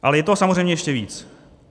Ale je toho samozřejmě ještě víc.